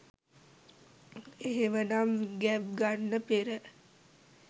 එහෙමනම් ගැබ් ගන්න පෙර